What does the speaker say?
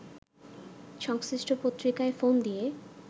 সংশ্লিষ্ট পত্রিকায় ফোন দিয়ে